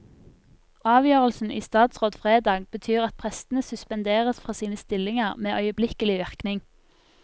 Avgjørelsen i statsråd fredag betyr at prestene suspenderes fra sine stillinger med øyeblikkelig virkning.